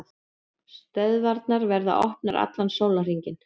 Stöðvarnar verða opnar allan sólarhringinn